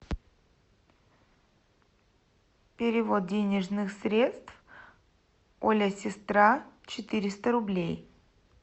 перевод денежных средств оля сестра четыреста рублей